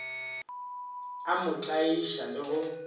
a mo tlaiša le go